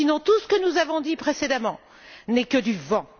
Sinon, tout ce que nous avons dit précédemment n'est que du vent.